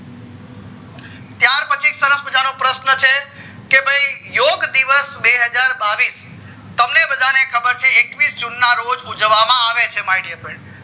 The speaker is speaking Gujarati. ત્યાર પછી સરસ મજાનો પ્રશ્ન છે કે ભય યોગ દિવસ બેહજાર બાવીશ તમને બધાને ખબર છે એકવીશ june ના રોજ ઉજવવા માં આવે છે my dear freinds